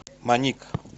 моник